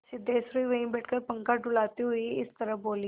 सिद्धेश्वरी वहीं बैठकर पंखा डुलाती हुई इस तरह बोली